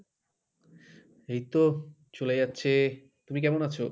এইতো চলে যাচ্ছে, তুমি কেমন আছো?